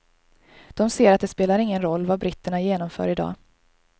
De ser att det spelar ingen roll vad britterna genomför i dag.